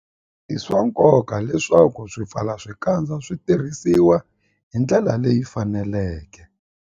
I swa nkoka leswaku swipfalaxikandza swi tirhisiwa hi ndlela leyi faneleke.